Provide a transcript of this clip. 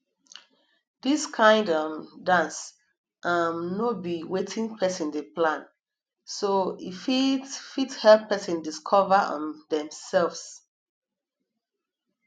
dis kind um dance um no be wetin person dey plan so e fit fit help person discover um themselves